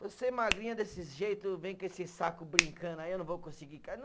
Você magrinha desse jeito, vem com esse saco brincando, aí eu não vou conseguir